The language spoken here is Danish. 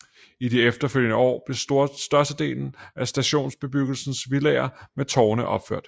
I de efterfølgende år blev størstedelen af stationsbebyggelsens villaer med tårne opført